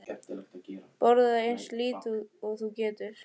Sporaðu eins lítið út og þú getur.